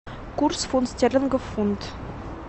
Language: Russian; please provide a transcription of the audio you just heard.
курс фунт стерлингов фунт